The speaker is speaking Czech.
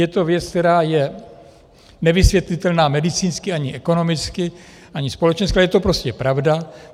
Je to věc, která je nevysvětlitelná medicínsky, ani ekonomicky, ani společensky, ale je to prostě pravda.